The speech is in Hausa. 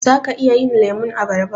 Zaka iya yin lemun abarba?